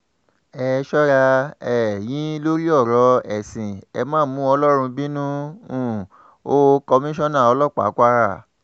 ẹ sọra um yín lórí ọ̀rọ̀ ẹ̀sìn ẹ̀ ma mú ọlọ́run bínú um o komisanna ọlọ́pàá kwara